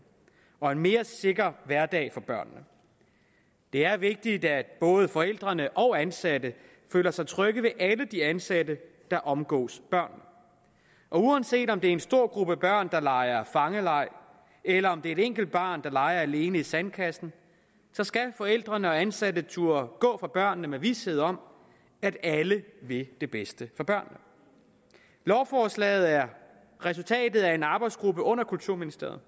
og en mere sikker hverdag for børnene det er vigtigt at både forældrene og ansatte føler sig trygge ved alle de ansatte der omgås børnene uanset om det er en stor gruppe børn der leger fangeleg eller om det er et enkelt barn der leger alene i sandkassen skal forældrene og ansatte turde gå fra børnene med vished om at alle vil det bedste for børnene lovforslaget er resultatet af en arbejdsgruppe under kulturministeriet